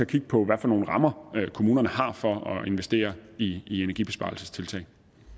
kigge på hvilke rammer kommunerne har for at investere i i energibesparelsestiltag